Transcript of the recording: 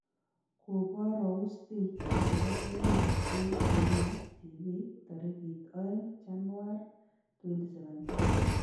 Koboroustig chebo emet en Dunia TV tarigit 02-chanuar-2017.